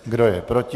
Kdo je proti?